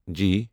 جی